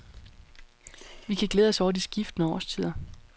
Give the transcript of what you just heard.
Vi kan glæde os over de skiftende årstider.